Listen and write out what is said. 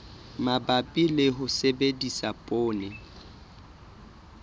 mabapi le ho sebedisa poone